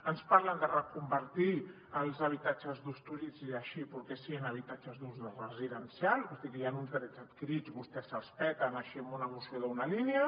ens parlen de reconvertir els habitatges d’ús turístic així perquè sí en habitatges d’ús residencial o sigui hi ha uns drets adquirits i vostès se’ls peten així amb una moció d’una línia